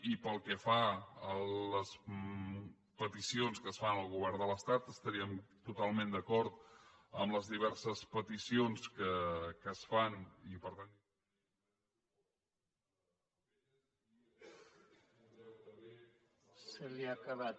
i pel que fa a les peticions que es fan al govern de l’estat estaríem totalment d’acord amb les diverses peticions que es fan i per tant